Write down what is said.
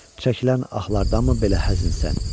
Çəkilən ahlardanmı belə həzinsən?